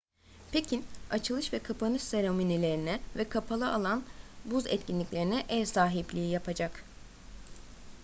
pekin açılış ve kapanış seremonilerine ve kapalı alan buz etkinliklerine ev sahipliği yapacak